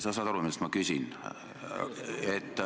Sa saad aru, mida ma küsin.